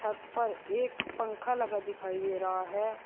छत पर एक पंखा लगा दिखाई दे रहा है।